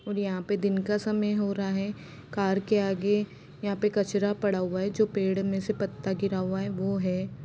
और यहां पर दिन का समय हो रहा है कार के आगे यहां पर कचरा पड़ा हुआ है जो पेड़ में से पत्ता गिरा हुआ है वह है।